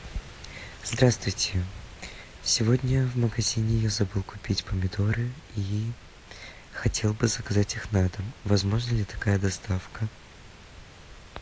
здравствуйте сегодня в магазине я забыл купить помидоры и хотел бы заказать их на дом возможна ли такая доставка